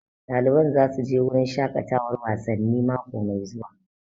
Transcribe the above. Ɗaliban za su je wurin shaƙatawan wasanni mako mai zuwa